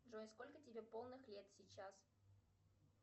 джой сколько тебе полных лет сейчас